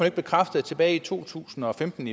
ikke bekræfte at tilbage i februar to tusind og femten